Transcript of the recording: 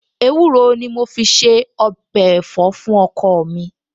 Ewúro ni mo fi se ọbẹ̀ ẹ̀fọ́ fún ọkọ mi